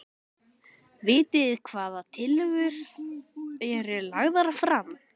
Jóhannes: Vitið hvaða tillögur eru lagðar fram?